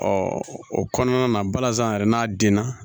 o kɔnɔna na balazan yɛrɛ n'a denna